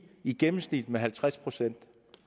i gennemsnit halvtreds procent